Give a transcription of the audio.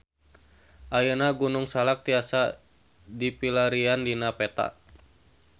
Ayeuna Gunung Salak tiasa dipilarian dina peta